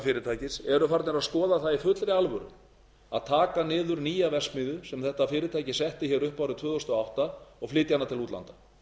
fyrirtækis eru farnir að skoða það í fullri alvöru að taka niður nýja verksmiðju sem þetta fyrirtæki setti upp árið tvö þúsund og átta og flytja hana til útlanda